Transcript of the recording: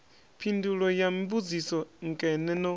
phindulo ya mbudziso nkene no